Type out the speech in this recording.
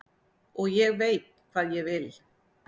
Og ég veit hvað ég vil.